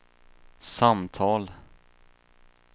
samtal